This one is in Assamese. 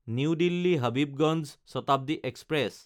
new Delhi Habibganj Shatabdi express